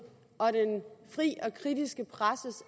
og den fri og kritiske presses